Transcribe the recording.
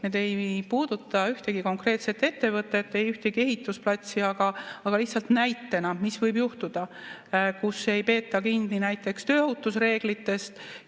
Need ei puuduta ühtegi konkreetset ettevõtet, ei ühtegi ehitusplatsi, aga lihtsalt näitena, mis võib juhtuda, kui ei peeta kinni näiteks tööohutusreeglitest.